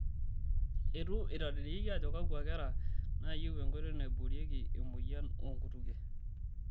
Eitu etadedeyieki ajo kakua kera naayieu enkoitoi naiboorieki emoyian oonkutukie.